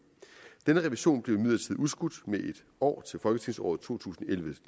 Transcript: denne revision blev imidlertid udskudt med en år til folketingsåret to tusind og elleve